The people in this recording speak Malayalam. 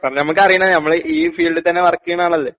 സാർ ഞമ്മക്കറീണാ ഞമ്മളീ ഫീൽഡിത്തന്നെ വർക്ക് ചെയ്യണ ആളല്ലേ